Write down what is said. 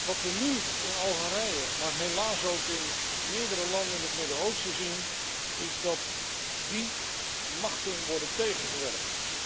Wat we nu in Algerije, maar helaas ook in meerdere landen in het Midden Oosten zien, is dat die machten worden tegengewerkt.